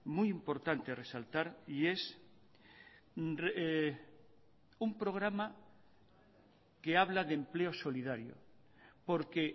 muy importante resaltar y es un programa que habla de empleo solidario porque